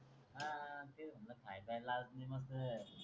खायला लाजते मनल